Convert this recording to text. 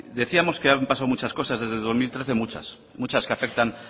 decíamos que han pasado muchas cosas desde el dos mil trece muchas muchas que afectan